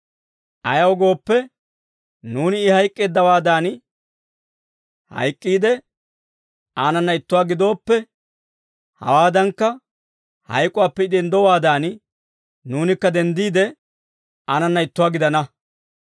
Ayaw gooppe, nuuni I hayk'k'eeddawaadan hayk'k'iide, aanana ittuwaa gidooppe, hawaadankka, hayk'uwaappe I denddowaadan nuunikka denddiide, aanana ittuwaa gidana.